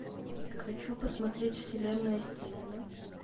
хочу посмотреть вселенная стивена